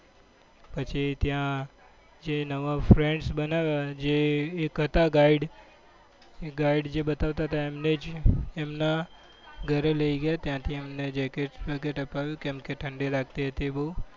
પછી ત્યાં જે નવા friends બનાવ્યા જે એક હતા guide એ guide જે બત્વતા હતા એમને જ એમના ઘરે લઇ ગયા ત્યાં થી અમને jacket બેકેટ અપાવ્યું કેમ કે ઠંડી લગતી હતી બઉ